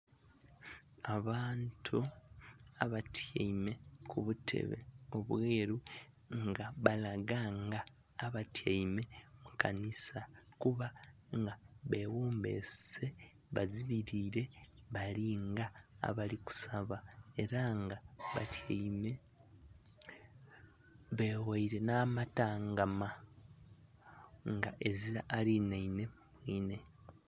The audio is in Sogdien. Abantu abatyaime kubutebe obweru nga balaga nga abatyaime mukanisa kuba nga beghombese bazibirire balinga abali kusaba era nga batyaime beghaire n'amabanga nga ezira alinhanhe mwiine.